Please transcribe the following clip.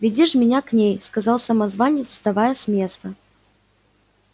веди ж меня к ней сказал самозванец вставая с места